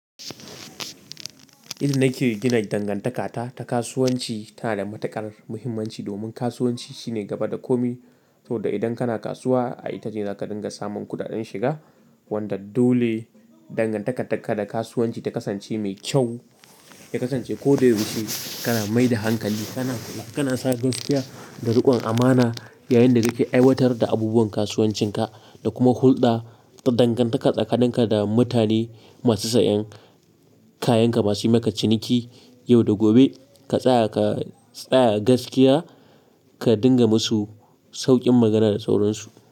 Inda nake gina dangantakata ta kasuwanci tana da matuƙar muhimmanci, domin kasuwanci shi ne gaba da komai. Saboda idan kana kasuwa, a ita ce za ka dinga samun kuɗaɗen shiga. Wanda dole dangantakan ka da kasuwanci ta kasance mai kyau, ta kasance ko da ya yaushe kana mai da hankali, kana, kana sa gaskiya da riƙon amana yayin da kake aiwatar da abubuwan kasuwancinka da kuma hulɗa ta dangantaka tsakanin ka da mutane masu sayan kayanka masu maka ciniki yau da gobe ka tsaya, ka tsaya gaskiya ka dinga musu sauƙin magana da sauransu.